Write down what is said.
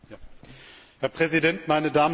Herr Präsident, meine Damen und Herren!